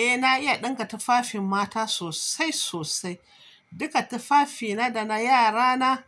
Eh na iya ɗinka tufafin mata sosai sosai. Duka tufafina da na yarana